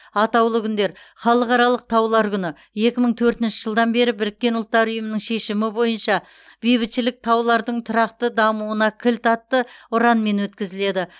атаулы күндер халықаралық таулар күні екі мың төртінші жылдан бері біріккен ұлттар ұйымы шешімі бойынша бейбітшілік таулардың тұрақты дамуына кілт атты ұранмен өткізіледі